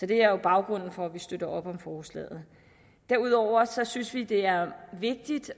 det er jo baggrunden for at vi støtter op om forslaget derudover synes vi det er vigtigt